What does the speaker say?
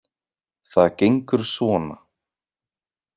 Það gengur svona.